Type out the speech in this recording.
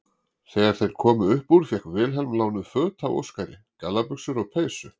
Þegar þeir komu upp úr fékk Vilhelm lánuð föt af Óskari, gallabuxur og peysu.